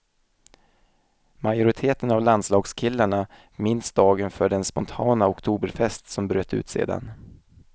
Majoriteten av landslagskillarna minns dagen för den spontana oktoberfest som bröt ut sedan.